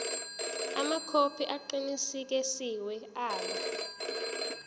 amakhophi aqinisekisiwe abo